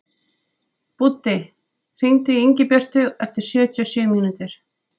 Búddi, hringdu í Ingibjörtu eftir sjötíu og sjö mínútur.